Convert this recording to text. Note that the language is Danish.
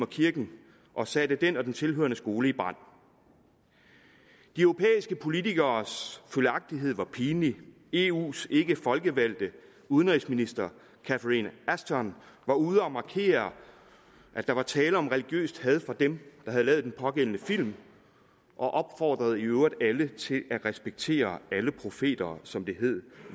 kirken og satte den og den tilhørende skole i brand de europæiske politikeres følgagtighed var pinlig eus ikkefolkevalgte udenrigsminister catherine ashton var ude at markere at der var tale om religiøst had fra dem der havde lavet den pågældende film og opfordrede i øvrigt alle til at respektere alle profeter som det hed